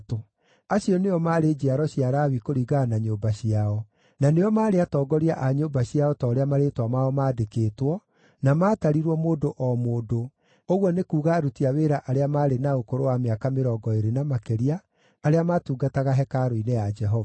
Acio nĩo maarĩ njiaro cia Lawi kũringana na nyũmba ciao: na nĩo maarĩ atongoria a nyũmba ciao ta ũrĩa marĩĩtwa mao maandĩkĩtwo, na maatarirwo mũndũ o mũndũ, ũguo nĩ kuuga aruti a wĩra arĩa maarĩ na ũkũrũ wa mĩaka mĩrongo ĩĩrĩ na makĩria, arĩa maatungataga hekarũ-inĩ ya Jehova.